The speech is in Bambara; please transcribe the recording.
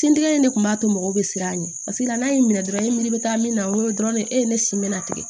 Sintigɛ in de kun b'a to mɔgɔw bɛ siran a ɲɛ paseke n'a y'i minɛ dɔrɔn i miiri be taa min na dɔrɔn ne e ye ne sin me na tigɛ